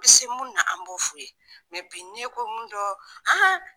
bɛ se mun na an b'o f'u ye bi n'i ko mun dɔn